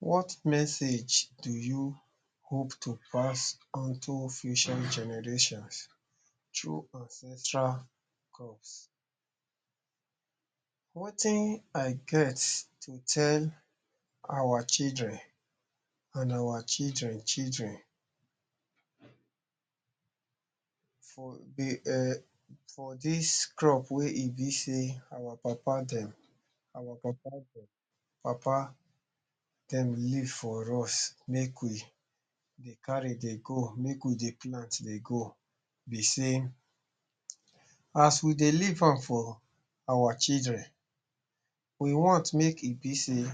What message do you hope to pass unto future generations through ancestral crops? Wetin I get to tell awa children and awa children children um for dis crop wey e be sey awa papa-dem, awa papa-dem papa dem leave for us make we dey carry dey go, make we dey plant dey go be sey, as we dey leave am for awa children, we want make e be sey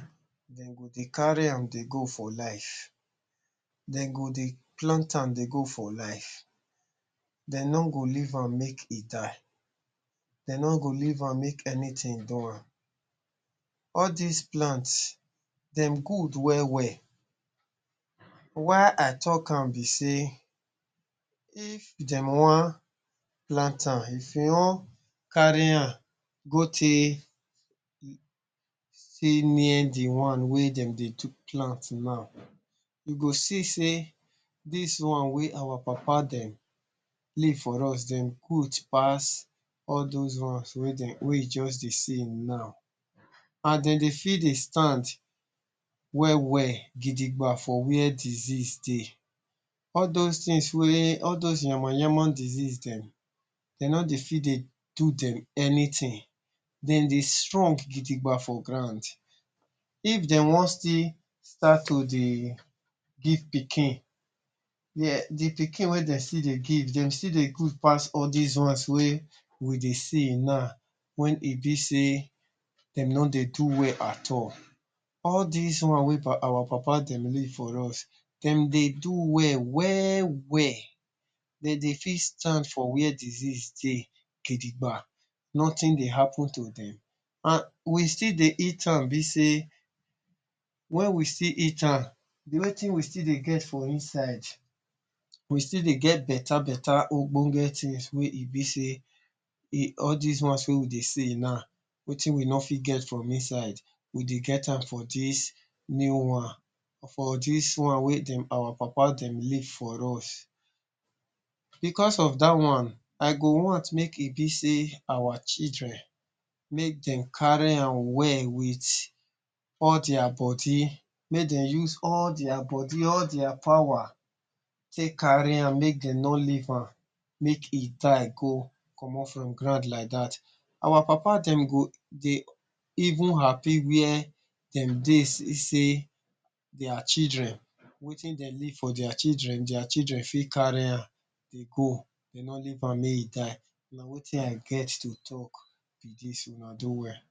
dem go dey carry am dey go for life. Dem go dey plant am dey go for life, de no go leave am make e die, de no go leave am make anything do am. All dis plants dem good well-well. Why I talk am be sey, if dem wan plant am, if e wan carry am go take take near de one wey dem dey plant now, you go see sey dis one wey awa papa-dem leave for us, dem good pass all dose ones wey we just dey see now and de dey fit dey stand well-well gidigba for where disease dey. All dose things wey all dose yama-yama disease dem, dem no dey fit dey do dem anything. De dey strong gidigba for ground. If dem wan still start to dey give pikin, de pikin wey dem still dey give, dem still dey good pass all dis ones wey we dey see now wey e be sey dem no dey do well at all. All dis one wey awa papa-dem leave for us, dem dey do well well-well. Dem dey fit stand for where disease dey gidigba, nothing dey happen to dem. And we still dey eat am be sey, when we still eat am, wetin we still dey get for inside, we still dey get better-better ogbonge things wey e be sey all dese ones wey we dey see now, wetin we no fit get from inside, we dey get am for dis new one, for dis one wey dem awa papa-dem leave for us. Because of dat one, I go want make e be sey awa children, make dem carry am well with all dia body. Make dem use all dia body, all dia power take carry am, make dem no leave am make e die go comot from ground like dat. Awa papa-dem go dey even happy where dem dey see sey dia children, wetin dem leave for dia children, dia children fit carry am dey go, de no leave am make e die. Na wetin I get to talk be dis. Una do well!